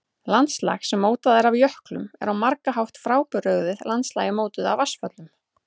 Landslag sem mótað er af jöklum er á margan hátt frábrugðið landslagi mótuðu af vatnsföllum.